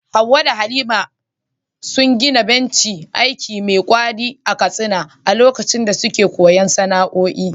Hawwa da Halima sun gina bencin aiki me ƙwari a Katsina a lokacin da suke koyon sana’o’i.